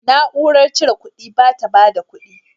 Na'urar cire kuɗin ba ta bada kudi.